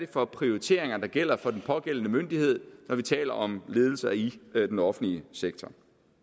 for prioriteringer der gælder for den pågældende myndighed når vi taler om ledelser i den offentlige sektor